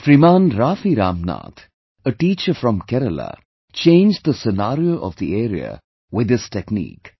Shriman Raafi Ramnath, a teacher from Kerala, changed the scenario of the area with this technique